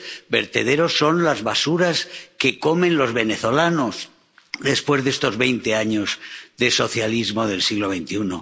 los vertederos están las basuras que comen los venezolanos después de estos veinte años de socialismo del siglo XXI.